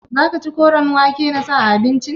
Za ka ci koren wake in na sa a abinci?